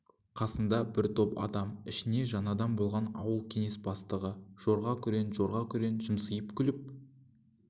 қасында бір топ адам ішінде жаңадан болған ауыл кеңес бастығы жорға күрең жорға күрең жымсиып күліп